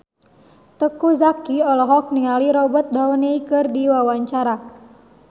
Teuku Zacky olohok ningali Robert Downey keur diwawancara